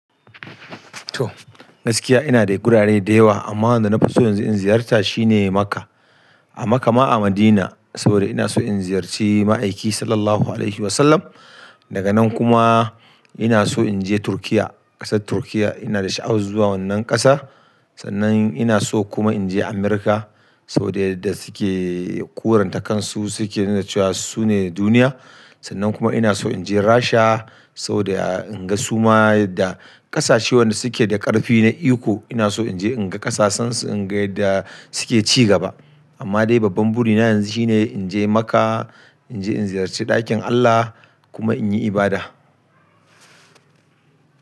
Toh gaskiya ina da gurare da yawa amma wanda na fi so yanzu in ziyarta shine Makkah. A Makkah ma a Madina saboda ina so in ziyarci ma'aiki Sallallahu Alaihi Wasallam. Daga nan kuma ina so in je Turkiyya, ƙasar Turkiyya ina da sha'awa zuwa wannan ƙasa. Sannan ina so kuma in je Amurka saboda yadda suke kuranta kansu suke nuna cewa su ne duniya. Sannan kuma ina so inje Rasha, soboda in ga suma yadda ƙasashe wanda suke da ƙarfi na iko, ina so in je in ga ƙasashen su in ga yadda suke ci gaba amma dai babban burina yanzu shine in je Makkah, in je in ziyarci ɗakin Allah kuma in yi ibada.